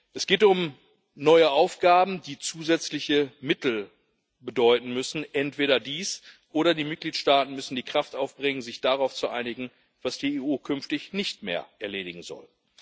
Es geht um neue Aufgaben, die zusätzliche Mittel bedeuten müssen entweder dies, oder die Mitgliedstaaten müssen die Kraft aufbringen, sich darauf zu einigen, was die EU künftig nicht mehr erledigen soll.